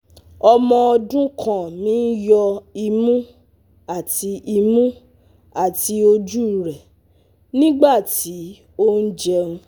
Ọmọ ọdun kan mi n yọ imu ati imu ati oju rẹ nigbati o jẹun